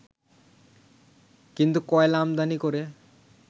কিন্তু কয়লা আমদানি করে